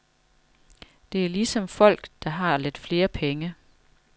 Det er ligesom folk, der har lidt flere penge.